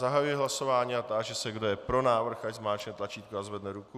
Zahajuji hlasování a táži se, kdo je pro návrh, ať zmáčkne tlačítko a zvedne ruku.